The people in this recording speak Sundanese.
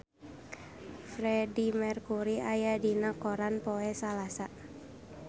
Freedie Mercury aya dina koran poe Salasa